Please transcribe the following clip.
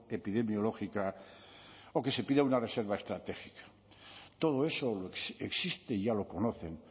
epidemiológica o que se pida una reserva estratégica todo eso existe ya lo conocen